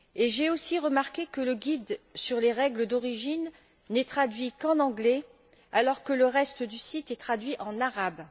J'ai aussi remarqué que le guide sur les règles d'origine n'est traduit qu'en anglais alors que le reste du site est traduit en arabe.